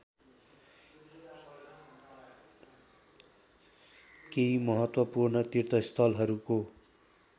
केही महत्त्वपूर्ण तीर्थस्थलहरूको